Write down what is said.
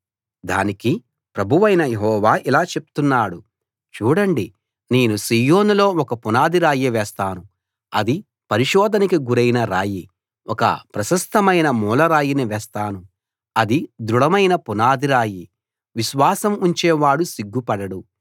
దానికి ప్రభువైన యెహోవా ఇలా చెప్తున్నాడు చూడండి నేను సీయోనులో ఒక పునాది రాయి వేస్తాను అది పరిశోధనకి గురైన రాయి ఒక ప్రశస్తమైన మూలరాయిని వేస్తాను అది దృఢమైన పునాది రాయి విశ్వాసం ఉంచే వాడు సిగ్గుపడడు